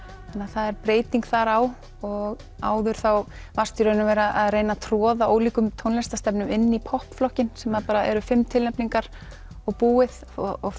það er breyting þar á og áður þá varstu í raun og veru að reyna að troða ólíkum tónlistarstefnum inn í popp flokkinn sem bara eru fimm tilnefningar og búið og